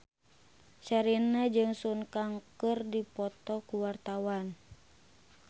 Sherina jeung Sun Kang keur dipoto ku wartawan